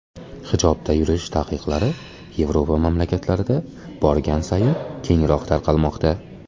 Hijobda yurish taqiqlari Yevropa mamlakatlarida borgan sayin kengroq tarqalmoqda.